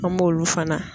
An b'olu fana